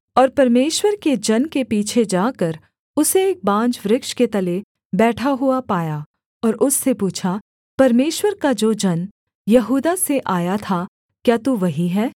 और परमेश्वर के जन के पीछे जाकर उसे एक बांज वृक्ष के तले बैठा हुआ पाया और उससे पूछा परमेश्वर का जो जन यहूदा से आया था क्या तू वही है